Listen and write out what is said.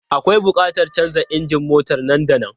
Akwai buƙatar canza injin motar nan da nan.